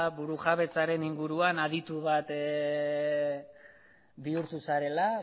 burujabetzaren inguruan aditu bat bihurtu zarela